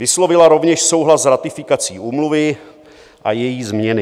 Vyslovila rovněž souhlas s ratifikací Úmluvy a její změny.